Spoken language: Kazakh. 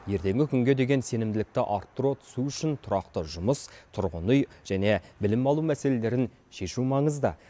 ертеңгі күнге деген сенімділікті арттыра түсу үшін тұрақты жұмыс тұрғын үй және білім алу мәселелерін шешу маңызды